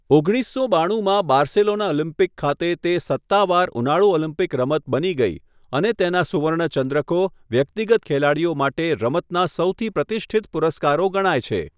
ઓગણીસસો બાણુંમાં Barcelona Olympic ખાતે તે સત્તાવાર ઉનાળુ ઓલિમ્પિક રમત બની ગઈ અને તેના સુવર્ણ ચંદ્રકો વ્યક્તિગત ખેલાડીઓ માટે રમતના સૌથી પ્રતિષ્ઠિત પુરસ્કારો ગણાય છે.